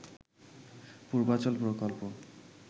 পূর্বাচল প্রকল্প